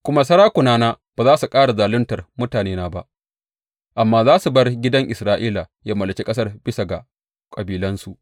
Kuma sarakunana ba za su ƙara zaluntar mutanena ba amma za su bar gidan Isra’ila ya mallaki ƙasar bisa ga kabilansu.